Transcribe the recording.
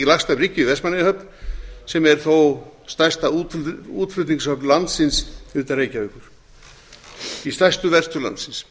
lagst að bryggju í vestmannaeyjahöfn sem er þó stærsta útflutningshöfn landsins utan reykjavíkur í stærstu verstöð landsins